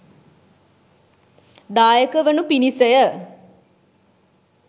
දායක වනු පිණිස ය.